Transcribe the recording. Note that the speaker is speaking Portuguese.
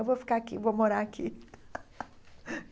Eu vou ficar aqui, vou morar aqui.